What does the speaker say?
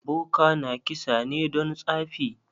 Boka na kisa ne don tsafi?